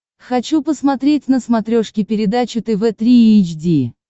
хочу посмотреть на смотрешке передачу тв три эйч ди